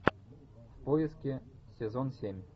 в поиске сезон семь